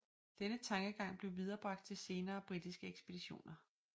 Denne tankegang blev viderebragt til senere britiske ekspeditioner